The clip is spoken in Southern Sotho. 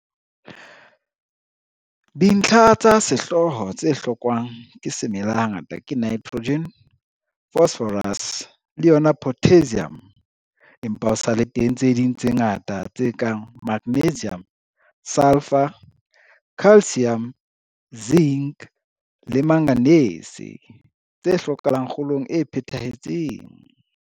Dintlha tsa sehlooho tse hlokwang ke semela hangata ke Nitrogen, Phosphorus, le yona Potassium, empa ho sa le teng tse ding tse ngata, tse kang Magnesium, Sulphur, Calcium, Zinc, le Manganese, tse hlokahalang kgolong e phethahetseng.